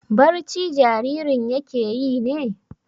Barci jaririn yake yi ne?